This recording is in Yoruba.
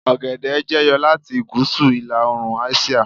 ogede jẹyọ lati gúúsù ila oorun àsìá